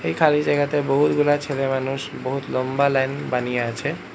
এ খালি জায়গাতে বহুতগুলা ছেলেমানুষ বহুত লম্বা লাইন বানিয়ে আছে।